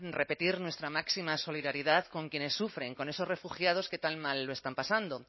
repetir nuestra máxima solidaridad con quienes sufren con esos refugiados que tan mal lo están pasando